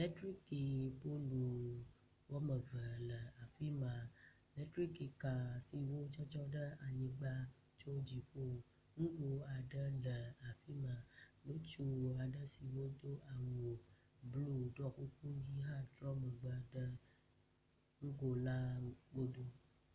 Letriki polu wɔme eve le afi ma. Letrikika siwo dzɔdzɔ ɖe anyigba tso dziƒo. Nugo aɖe le afi ma. Ŋutsu aɖe siwo do awu blu ɖɔ kuku ʋi hã trɔ megbe ɖe nugo la nu.